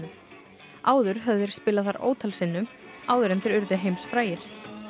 áður höfðu þeir spilað þar ótal sinnum áður en þeir urðu heimsfrægir